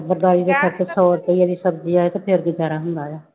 ਸੌ ਰੁਪਈਏ ਦੀ ਸਬਜ਼ੀ ਆਏ ਤੇ ਫਿਰ ਗੁਜ਼ਾਰਾ ਹੁੰਦਾ ਆ।